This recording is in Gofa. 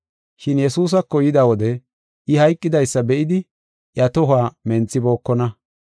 Shin Yesuusako yida wode I hayqidaysa be7idi, iya tohuwa menthibookona.